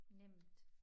Nemt